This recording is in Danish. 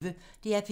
DR P1